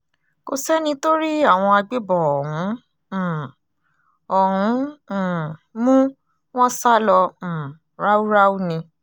kò sẹ́ni tó rí àwọn agbébọ̀n ọ̀hún um ọ̀hún um mú wọn sá lọ um ráúráú ni